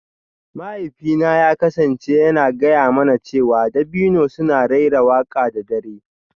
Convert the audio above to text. Mahaifina ya kasance yana gaya mana cewa dabino suna raira waƙa da dare